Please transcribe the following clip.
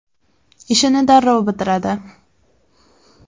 Ishini darrov bitiradi.